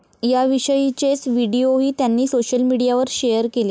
याविषयीचेच व्हिडिओही त्यांनी सोशल मीडियावर शेअर केले.